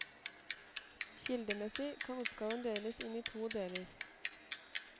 Kildemessig kan oppgaven deles inn i to deler.